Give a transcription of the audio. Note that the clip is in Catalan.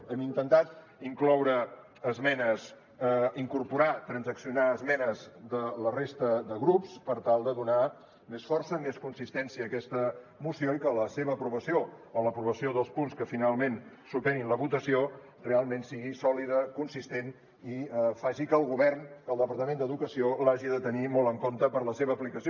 hem intentat incloure esmenes incorporar transaccionar esmenes de la resta de grups per tal de donar més força més consistència a aquesta moció i que la seva aprovació o l’aprovació dels punts que finalment superin la votació realment sigui sòlida consistent i faci que el govern que el departament d’educació l’hagi de tenir molt en compte per a la seva aplicació